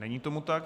Není tomu tak.